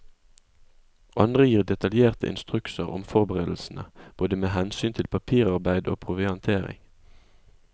Andre gir detaljerte instrukser om forberedelsene, både med hensyn til papirarbeid og proviantering.